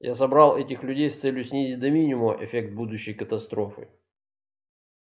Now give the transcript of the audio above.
я собрал этих людей с целью снизить до минимума эффект будущей катастрофы